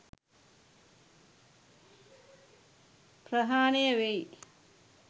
ප්‍රහාණය වෙයි.